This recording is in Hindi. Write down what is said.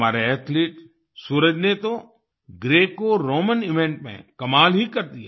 हमारे एथलीट सूरज ने तो ग्रेकोरोमैन इवेंट में कमाल ही कर दिया